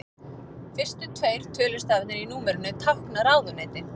Fyrstu tveir tölustafirnir í númerinu tákna ráðuneyti.